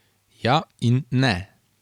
Ja in ne.